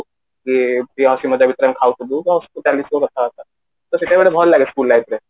କି ବାସ ଚାଳିଥିବ କଥା ବାର୍ତା ସେଟା ଗୋଟେ ଭଲ ଲାଗେ school life ରେ